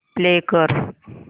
play कर